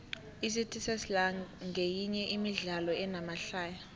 icity sesla nqeminye yemidlalo enamahlaya